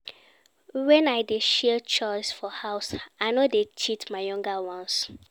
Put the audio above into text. Wen I dey share chores for house, I no dey cheat my younger ones.